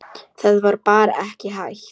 Það var bara ekki hægt.